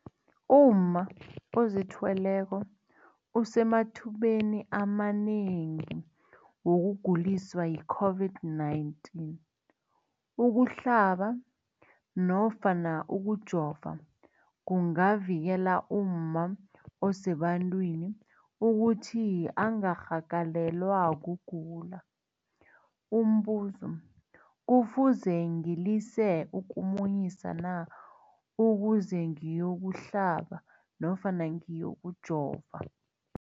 umma ozithweleko usemathubeni amanengi wokuguliswa yi-COVID-19. Ukuhlaba nofana ukujova kungavikela umma osebantwini ukuthi angarhagalelwa kugula. Umbuzo, kufuze ngilise ukumunyisa na ukuze ngiyo kuhlaba nofana ngiyokujova?